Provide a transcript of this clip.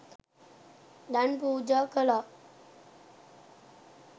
දන් පූජා කළා.